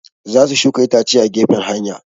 Za su shuka itace a gefen hanya